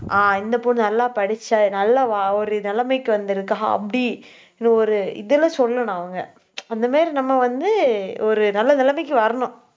ஆஹ் இந்த பொண்ணு நல்லா படிச்சா நல்லா ஒரு நிலைமைக்கு வந்திருக்கா அப்படி இந்த ஒரு இதுல சொல்லணும் அவங்க. அந்த மாதிரி நம்ம வந்து ஒரு நல்ல நிலைமைக்கு வரணும்